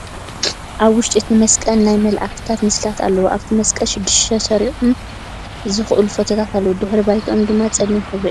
ኣብ ዉሽጢ እቲ መስቅል ናይ መላኢክት ምስልታት ኣለዉ ። ኣብቲ መስቀል ሽድሽተ ዕርሶም ዝከኣሉ ፎቶታት ኣለዉ ። ድሕረ ባይትኦም ድማ ፀሊም ሕብሪ እዩ ።